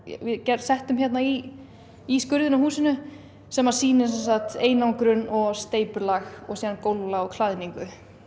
settum hérna í í skurðinn á húsinu sem sýnir sem sagt einangrun og steypulag og gólflag og klæðningu